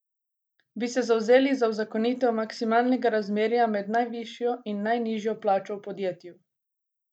Bi se zavzeli za uzakonitev maksimalnega razmerja med najvišjo in najnižjo plačo v podjetju?